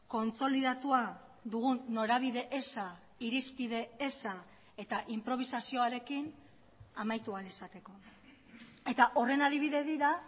kontsolidatua dugun norabide eza irizpide eza eta inprobisazioarekin amaitu ahal izateko eta horren adibide dira